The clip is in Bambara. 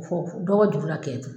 dɔgɔ juru la kɛn tɛ